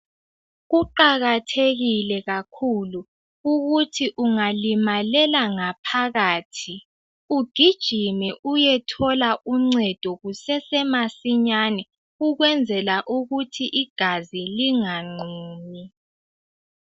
Kuqakathekile kakhulu ukuthi ungalimalela ngaphakathi ugijime uyethola uncedo kusesemasinyane ukwenzela ukuthi igazi linganqumi.